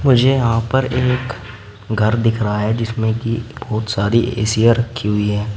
मुझे यहां पर एक घर दिख रहा है जिसमें कि बहुत सारी एसिया रखी हुई हैं।